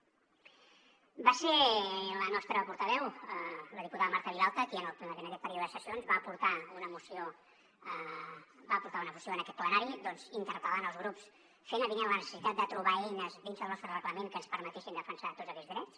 va ser la nostra portaveu la diputada marta vilalta qui en aquest període de sessions va portar una moció en aquest plenari interpel·lant els grups fent avinent la necessitat de trobar eines dins del nostre reglament que ens permetessin defensar tots aquests drets